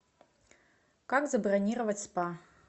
как забронировать спа